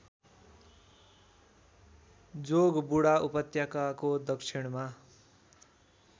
जोगबुढा उपत्यकाको दक्षिणमा